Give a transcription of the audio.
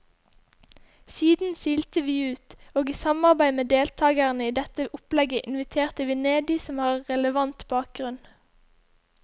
Siden silte vi ut, og i samarbeid med deltagerne i dette opplegget inviterte vi ned de som har relevant bakgrunn.